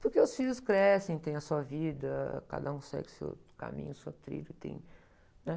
Porque os filhos crescem, têm a sua vida, cada um segue o seu caminho, o seu trilho, e tem, né?